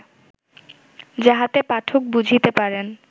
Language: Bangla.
যাহাতে পাঠক বুঝিতে পারেন